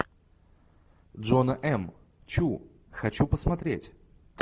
джона м чу хочу посмотреть